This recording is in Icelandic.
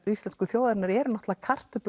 íslensku þjóðarinnar eru náttúrulega